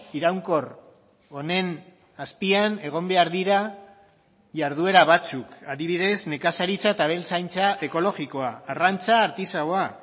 iraunkor honen azpian egon behar dira jarduera batzuk adibidez nekazaritza eta abeltzaintza ekologikoa arrantza artisaua